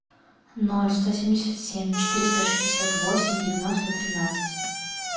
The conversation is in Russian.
ноль сто семьдесят семь четыреста шестьдесят восемь девяносто тринадцать